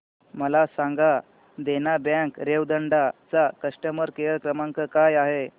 मला सांगा देना बँक रेवदंडा चा कस्टमर केअर क्रमांक काय आहे